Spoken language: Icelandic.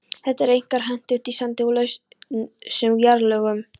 Þetta er einkar hentugt í sandi og lausum jarðlögum.